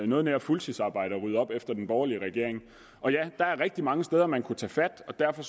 noget nær et fuldtidsarbejde at rydde op efter den borgerlige regering der er rigtig mange steder man kunne tage fat og derfor